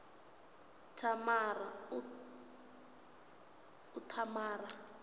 thamara